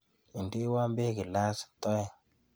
Indeiwo beek gilasit ae.